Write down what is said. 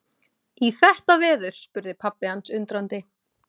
Í þetta veður? spurði pabbi hans undrandi.